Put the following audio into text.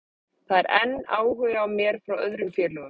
Það er enn áhugi á mér frá öðrum félögum.